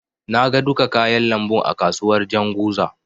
Na ga duka kayan lambun a kasuwar Janzuga.